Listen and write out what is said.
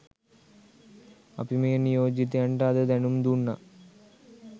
අපි මේ නියෝජිතයන්ට අද දැනුම් දුන්නා